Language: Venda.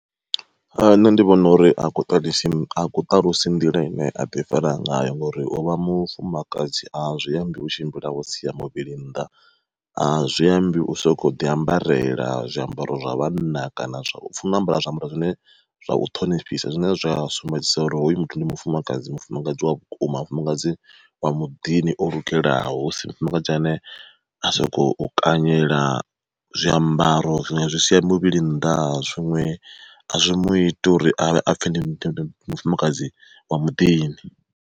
Nṋe ndi vhona uri a ku a ku ṱalusi nḓila ine aḓi fara ngayo ngori ovha mufumakadzi a zwi ambi u tshimbila wo sia muvhili nnḓa. A zwi ambi u soko ḓi ambarela zwiambaro zwa vhanna kana u funa ambara zwiambaro zwine zwa u ṱhonifhisa zwine zwa sumbedzisa uri hoyu muthu ndi mufumakadzi, mufumakadzi wa vhukuma mufumakadzi wa muḓini o lugelaho husi mufumakadzi ane a sa kho kanyela zwiambaro zwi sia muvhili nnḓa zwiṅwe a zwi mu iti uri avhe a pfhe ndi mufumakadzi wa muḓini.